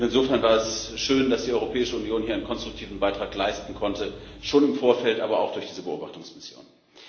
Insofern war es schön, dass die Europäische Union hier einen konstruktiven Beitrag leisten konnte schon im Vorfeld, aber auch durch diese Beobachtungsmission.